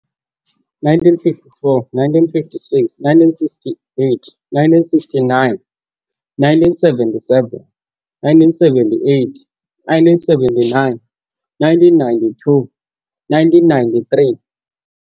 - 1954 - 1956 - 1968 - 1969 - 1977 - 1978 - 1979 - 1992 - 1993